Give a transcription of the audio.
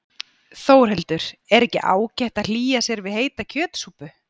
Þórhildur: Er ekki ágætt að hlýja sér við heita kjötsúpu?